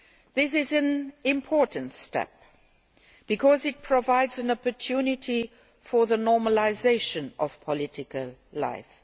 This is an important step because it provides an opportunity for the normalisation of political life.